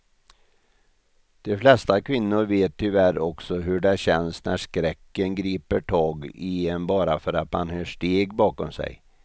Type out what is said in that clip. De flesta kvinnor vet tyvärr också hur det känns när skräcken griper tag i en bara för att man hör steg bakom sig.